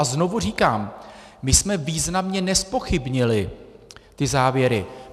A znovu říkám, my jsme významně nezpochybnili ty závěry.